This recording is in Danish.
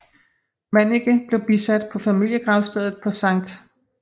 Manniche blev bisat på familiegravstedet på Sct